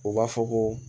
U b'a fɔ ko